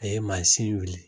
A ye manzin wuli